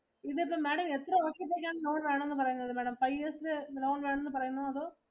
ഇതിപ്പോ Madam എത്ര വർഷത്തേക്കാണ് loan വേണമെന്നു പറയുന്നത് Madam. Five years ഇന്റെ loan വേണമെന്ന് പറയുന്നോ അതോ.